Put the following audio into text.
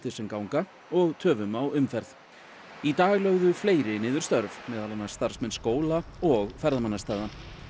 sem ganga og töfum á umferð í dag lögðu fleiri niður störf meðal annars starfsmenn skóla og ferðamannastaða